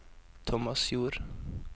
Tomasjord